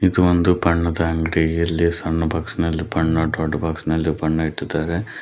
ಇದು ಒಂದು ಬಣ್ಣದ ಅಂಗಡಿ ಇಲ್ಲಿ ಸಣ್ಣ ಬಾಕ್ಸ್ ನಲ್ಲಿ ಬಣ್ಣ ದೊಡ್ಡ ಬಾಕ್ಸ್ ನಲ್ಲಿ ಬಣ್ಣ ಇಟ್ಟಿದ್ದಾರೆ.